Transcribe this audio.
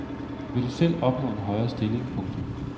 Vil du selv opnå en højere stilling. punktum